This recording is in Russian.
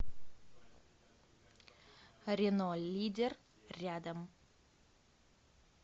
рено лидер рядом